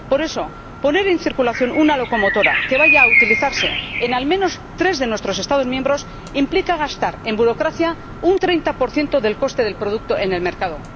Por eso, poner en circulación una locomotora que vaya a utilizarse en al menos tres de nuestros Estados miembros implica gastar en burocracia un 30 del coste del producto en el mercado.